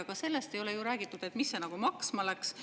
Aga sellest ei ole räägitud, mis see maksma läks.